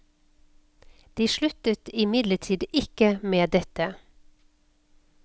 De sluttet imidlertid ikke med dette.